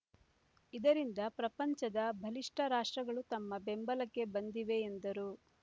ಇದರಿಂದ ಪ್ರಪಂಚದ ಬಲಿಷ್ಠ ರಾಷ್ಟ್ರಗಳು ತಮ್ಮ ಬೆಂಬಲಕ್ಕೆ ಬಂದಿವೆ ಎಂದರು